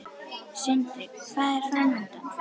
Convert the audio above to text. Sindri: Hvað er framundan?